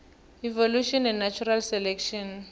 evolution and natural selection